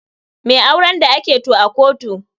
Me auren da ake to a kotu?